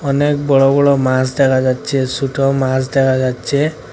অনেক বড় বড় মাছ দেখা যাচ্ছে সুটো মাছ দেখা যাচ্ছে।